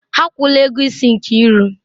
Ha akwụla ego isi Nkiru.